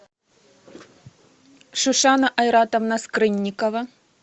шишана айратовна скрынникова